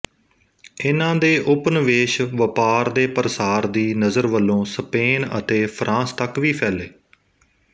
ਇਨ੍ਹਾਂ ਦੇ ਉਪਨਿਵੇਸ਼ ਵਪਾਰ ਦੇ ਪ੍ਰਸਾਰ ਦੀ ਨਜ਼ਰ ਵਲੋਂ ਸਪੇਨ ਅਤੇ ਫ਼ਰਾਂਸ ਤੱਕ ਵੀ ਫੈਲੇ